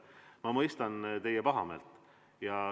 Ma mõistan teie pahameelt.